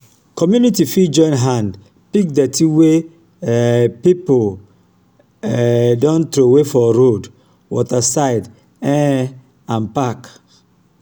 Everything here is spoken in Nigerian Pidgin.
community fit join hand pick dirty wey um pipo um don trowey for road water side um and parks